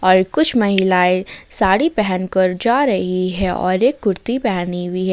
और कुछ महिलाएं साड़ी पहन कर जा रही है और एक कुर्ती पहनी हुई है।